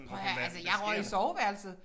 Prøv at høre altså jeg røg i soveværelset